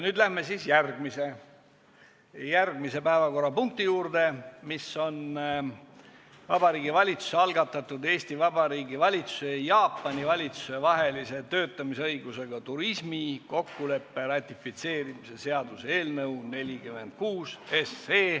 Läheme järgmise päevakorrapunkti juurde, milleks on Vabariigi Valitsuse algatatud Eesti Vabariigi valitsuse ja Jaapani valitsuse vahelise töötamisõigusega turismi kokkuleppe ratifitseerimise seaduse eelnõu 46.